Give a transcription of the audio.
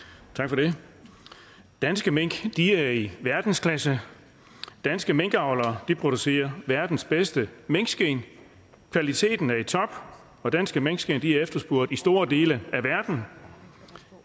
tak for det danske mink er i verdensklasse danske minkavlere producerer verdens bedste minkskind kvaliteten er i top og danske minkskind er efterspurgt i store dele af verden